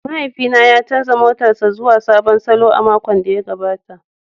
Mahaifina ya canza motarsa ​​zuwa sabon salo a makon da ya gabata.